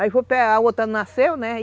A outra nasceu, né? Aí